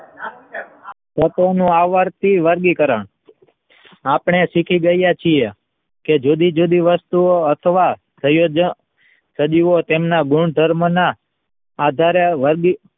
તત્વોનું આવર્તિય વર્ગીકરણ આપણે શીખી ગયા છીએ કે જુદી જુદી વસ્તુઓ અથવા સંયોજ સદીએ તેમના ગુણધર્મના આધારે વર્ગી